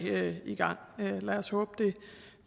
i gang lad os håbe det